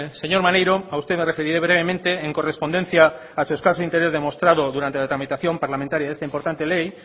señor maneiro a usted me referiré brevemente en correspondencia a su escaso interés demostrado durante la tramitación parlamentaria de esta importante ley